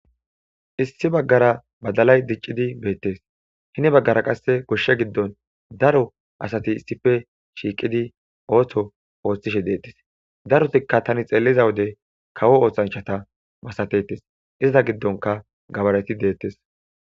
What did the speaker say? Issi bagara badalay diccidi beettees heni bagara qasse goshsha giddon daro asati issippe shiiqidi ootho oothishe deettees darotika tani xeelliza wode kawo oosanchchata masatetes iza giddonkka gabareti deettes.